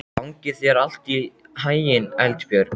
Gangi þér allt í haginn, Eldbjörg.